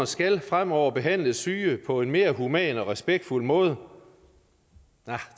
skal fremover behandle syge på en mere human og respektfuld måde